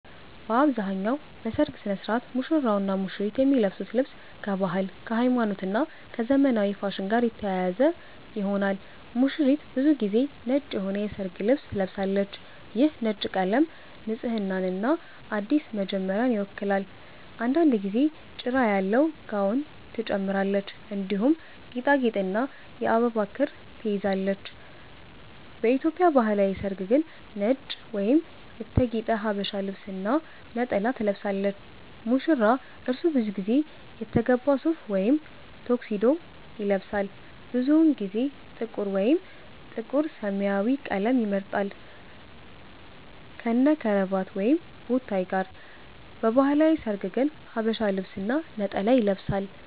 በአብዛኛው በሠርግ ሥነ ሥርዓት ሙሽራውና ሙሽሪት የሚለብሱት ልብስ ከባህል፣ ከሃይማኖት እና ከዘመናዊ ፋሽን ጋር የተያያዘ ይሆናል። ሙሽሪት ብዙ ጊዜ ነጭ የሆነ የሠርግ ልብስ ትለብሳለች። ይህ ነጭ ቀለም ንጽህናንና አዲስ መጀመሪያን ይወክላል። አንዳንድ ጊዜ ጭራ ያለው ጋውን ትጨምራለች፣ እንዲሁም ጌጣጌጥና የአበባ ክር ትይዛለች። በኢትዮጵያ ባህላዊ ሠርግ ግን ነጭ ወይም የተጌጠ ሀበሻ ልብስ እና ነጠላ ትለብሳለች። ሙሽራ : እርሱ ብዙ ጊዜ የተገባ ሱፍ ወይም ታክሲዶ ይለብሳል። ብዙውን ጊዜ ጥቁር ወይም ጥቁር-ሰማያዊ ቀለም ይመርጣል፣ ከነክራቫት ወይም ቦታይ ጋር። በባህላዊ ሠርግ ግን ሐበሻ ልብስ እና ነጠላ ይለብሳል።